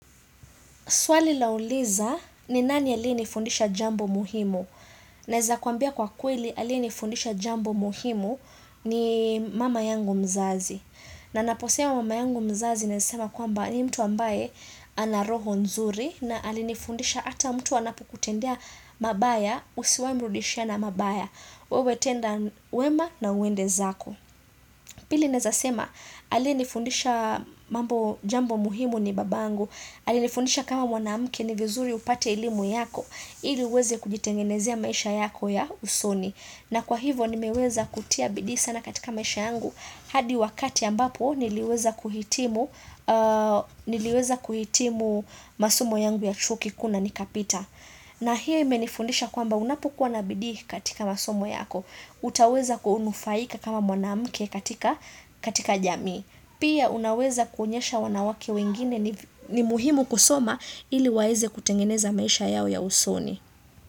Swali lauliza ni nani aliyenifundisha jambo muhimu? Naeza kuambia kwa kweli aliyenifundisha jambo muhimu ni mama yangu mzazi. Na ninaposema mama yangu mzazi nasema kwamba ni mtu ambaye ana roho nzuri na alinifundisha ata mtu anapokutendea mabaya usiwahi mrudishia na mabaya. Wewe tenda wema na uende zako. Pili nawezasema, aliyenifundisha mambo jambo muhimu ni babangu, alinifundisha kama mwanamke ni vizuri upate elimu yako, ili uweze kujitengenezea maisha yako ya usoni. Na kwa hivo nimeweza kutia bidii sana katika maisha yangu, hadi wakati ambapo niliweza kuhitimu niliweza kuhitimu masomo yangu ya chuo kikuu na nikapita. Na hiyo imenifundisha kwamba unapokua na bidii katika masomo yako, utaweza ku nufaika kama mwanamke katika jamii. Pia unaweza kuonyesha wanawake wengine ni muhimu kusoma ili waeze kutengeneza maisha yao ya usoni.